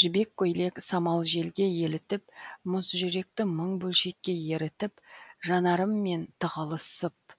жібек көйлек самал желге елітіп мұз жүректі мың бөлшекке ерітіп жанарыммен тығылысып